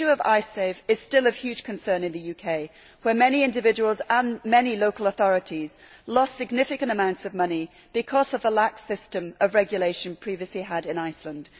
The issue of Icesave is still of huge concern in the UK, where many individuals and local authorities lost significant amounts of money because of the lax system of regulation previously in force in Iceland.